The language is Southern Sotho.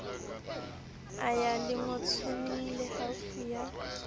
a ya lengotswaneng lehaufi a